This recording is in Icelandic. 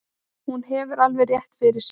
Hún hefur alveg rétt fyrir sér.